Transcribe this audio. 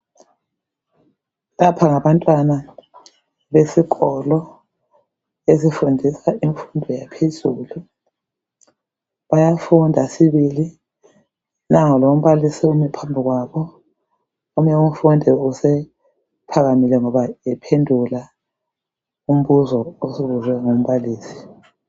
Lapha ngabantwana besikolo, esifundisa imfundo yaphezulu. Bayafunda sibili. Nango lombalisi umi phambi kwabo. Omunye umfundi usephakamile, ngoba ephend!ula umbuzo obuzwe ngumbalisi.